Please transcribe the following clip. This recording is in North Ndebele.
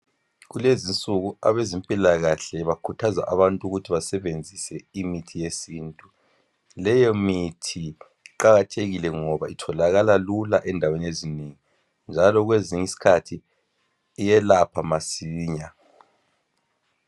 Kulezi nsuku abezempila kahle bakhuthaza abantu ukuthi basebenzise imithi yesintu leyo mithi iqakathekile ngoba itholakala lula endaweni ezinengi njalo kwezinyi skhathi iyelapha masinya